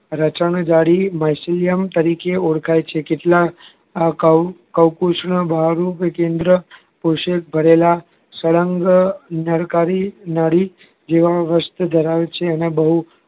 રચના જાડી melchium તરીકે ઓળખાય છે કેટલા આ ક્વ કલ્પસૂત્ર બહારનું કેન્દ્ર ભરેલા સળંગ નારી જેવા વસ્ત્ર ધરાવે છે અને બહુ